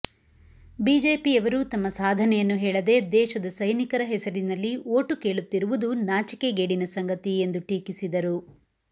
ಬಿಜೆಪಿಯವರು ತಮ್ಮ ಸಾಧನೆಯನ್ನು ಹೇಳದೆ ದೇಶದ ಸೈನಿಕರ ಹೆಸರಿನಲ್ಲಿ ಓಟು ಕೇಳುತ್ತಿರುವುದು ನಾಚಿಕೆಗೇಡಿನ ಸಂಗತಿ ಎಂದು ಟೀಕಿಸಿದರು